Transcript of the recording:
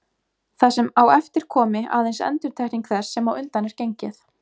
Það sem á eftir komi aðeins endurtekning þess sem á undan er gengið.